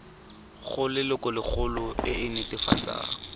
go lelokolegolo e e netefatsang